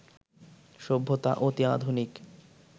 সভ্যতা অতি আধুনিক